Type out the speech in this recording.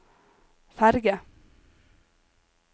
ferge